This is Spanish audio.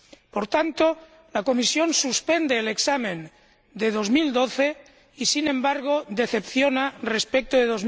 Por tanto, la Comisión suspende el examen de 2012 y, sin embargo, decepciona respecto de